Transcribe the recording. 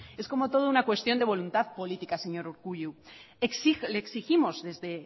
es como todo una cuestión de voluntad política señor urkullu le exigimos desde